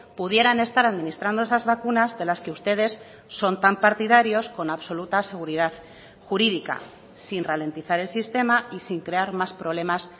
pudieran estar administrando esas vacunas de las que ustedes son tan partidarios con absoluta seguridad jurídica sin ralentizar el sistema y sin crear más problemas